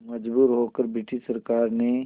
मजबूर होकर ब्रिटिश सरकार ने